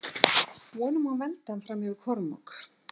Von um að hún veldi hann fram yfir Kormák.